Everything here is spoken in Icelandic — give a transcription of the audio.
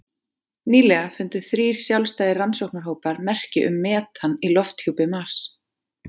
Nýlega fundu þrír sjálfstæðir rannsóknarhópar merki um metan í lofthjúpi Mars.